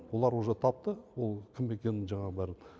олар уже тапты ол кім екенін жаңағы бәрін